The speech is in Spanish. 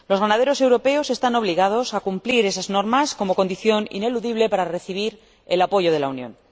Los ganaderos europeos están obligados a cumplir esas normas como condición ineludible para recibir el apoyo de la Unión.